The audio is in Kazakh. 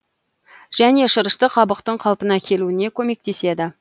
және шырышты қабықтың қалпына келуіне көмектеседі